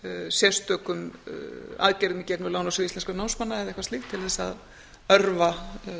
sérstökum aðgerðum í gegnum lánasjóð íslenskra námsmanna eða eitthvað slíkt til að örva